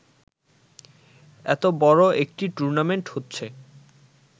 এতো বড় একটি টুর্নামেন্ট হচ্ছে